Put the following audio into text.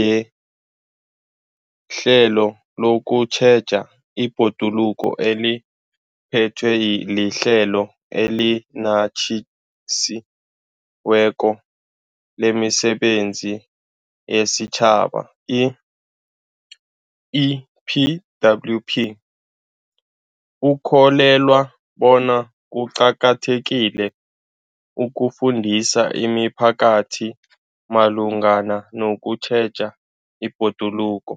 yehlelo lokutjheja ibhoduluko eliphethwe liHlelo eliNatjisi weko lemiSebenzi yesiTjhaba, i-EPWP, ukholelwa bona kuqakathekile ukufundisa imiphakathi malungana nokutjheja ibhoduluko.